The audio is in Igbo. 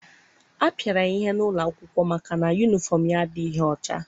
A pịara ya ihe n'ụlọ akwụkwọ maka na yunifọm ya adịghị ọcha.